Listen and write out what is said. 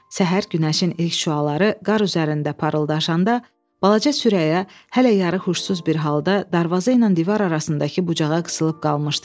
Səhər günəşin ilk şüaları qar üzərində parıldaşanda balaca Sürəya hələ yarıxuşsuz bir halda darvaza ilə divar arasındakı bucağa qısılıb qalmışdı.